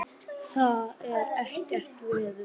Það er ekkert veður.